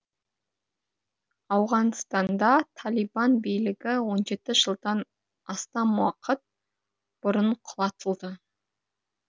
ауғанстанда талибан билігі он жеті жылдан астам уақыт бұрын құлатылды